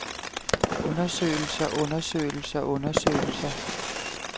undersøgelser undersøgelser undersøgelser